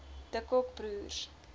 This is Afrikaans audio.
de kock broers